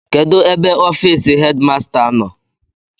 Kedụ ebe ọfịịsị hedịmasta nọ?